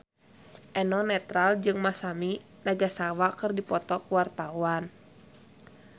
Eno Netral jeung Masami Nagasawa keur dipoto ku wartawan